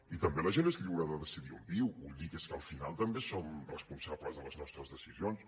i també la gent és lliure de decidir on viu vull dir que és que al final també som responsables de les nostres decisions